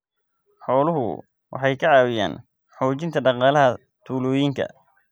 Xooluhu waxay ka caawiyaan xoojinta dhaqaalaha tuulooyinka.